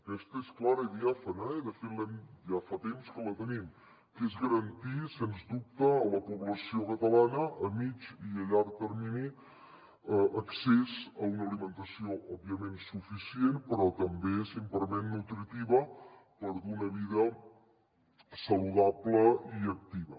aquesta és clara i diàfana de fet ja fa temps que la tenim eh és garantir sens dubte a la població cata lana a mitjà i a llarg termini accés a una alimentació òbviament suficient però també nutritiva per dur una vida saludable i activa